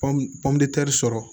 Pɔndi sɔrɔ